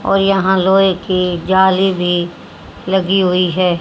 और यहां लोहे की जाली भी लगी हुई है।